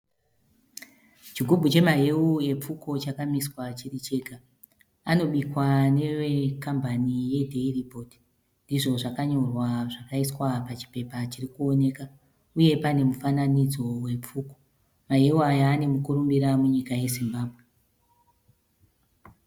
Chigubhu chemaheu epfuko chakamiswa chiri chega. Anobikwa nevekambani yeDairy Board izvi zvakanyorwa zvakaiswa pachipepa chirikuoneka uye pane mufananidzo wepfuko. Maheu aya ane mukurumbira munyika yeZimbabwe.